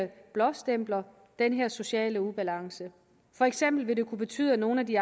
blåstempler den her sociale ubalance for eksempel vil det kunne betyde at nogle af de